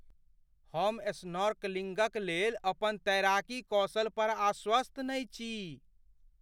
हम स्नॉर्कलिंगक लेल अपन तैराकी कौशल पर आश्वस्त नहि छी।